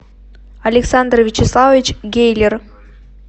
александр вячеславович гейлер